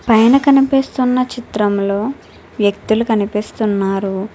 పైన కనిపిస్తున్న చిత్రంలో వ్యక్తులు కనిపిస్తున్నారు.